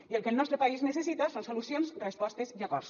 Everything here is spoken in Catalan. i el que el nostre país necessita són solucions respostes i acords